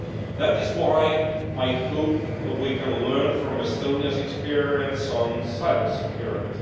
That is why I hope we can learn from Estonia's experience on cybersecurity.